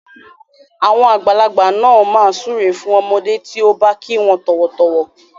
Àwọn àgbàlagbà máa ń súre fún ọmọdé tí ó bá kí wọn tọ̀wọ̀tọ̀wọ̀.